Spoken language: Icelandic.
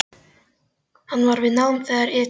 Hann var við nám þar ytra en lauk því ekki.